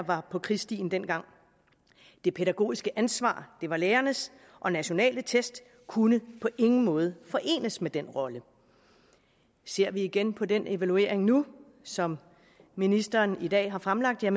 var på krigsstien dengang det pædagogiske ansvar var lærernes og nationale test kunne på ingen måde forenes med den rolle ser vi igen på den evaluering nu som ministeren i dag har fremlagt er